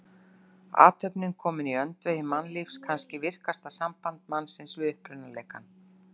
Athöfnin komin í öndvegi mannlífs, kannski virkasta samband mannsins við upprunaleikann.